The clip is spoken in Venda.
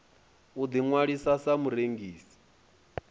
u ḓi ṅwalisa sa murengisi